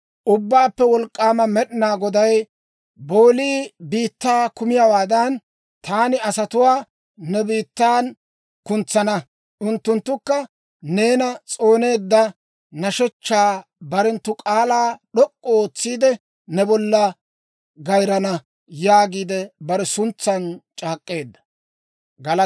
Ubbaappe Wolk'k'aama Med'inaa Goday, «Boolii biittaa kumiyaawaadan, taani asatuwaa ne biittan kuntsana; unttunttukka neena s'ooneedda nashshechchaa barenttu k'aalaa d'ok'k'u ootsiide, ne bollan gayrana» yaagiide bare suntsan c'aak'k'eedda.